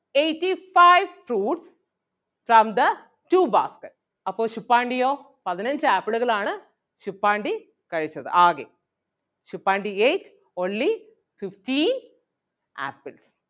eighty-five fruits from the two baskets അപ്പൊ ശുപ്പാണ്ടിയോ പതിനഞ്ച് ആപ്പിളുകളാണ് ശുപ്പാണ്ടി കഴിച്ചത് ആകെ. Suppandi ate only fifteen apples